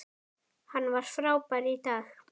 Hann var frábær í dag.